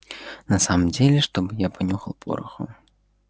на самом деле чтобы я понюхал пороху